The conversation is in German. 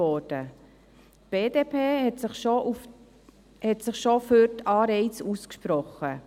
Die BDP hatte sich schon für die Anreize ausgesprochen.